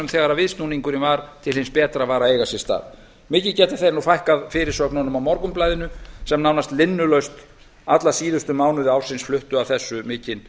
þegar viðsnúningurinn til hins betra var að eiga sé stað mikið geta þeir nú fækkað fyrirsögnunum á morgunblaðinu sem náðst linnulaust alla síðustu mánuði ársins flutti af þessu mikinn